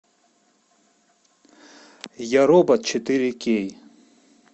я робот четыре кей